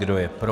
Kdo je pro?